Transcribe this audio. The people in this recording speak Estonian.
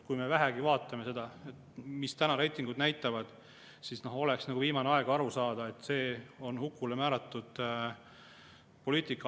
Kui me vähegi vaatame seda, mida reitingud näitavad, siis oleks viimane aeg aru saada, et see on hukule määratud poliitika.